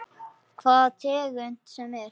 Hvaða tegund sem er.